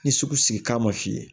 Ni sugu sigi k'a ma f'i ye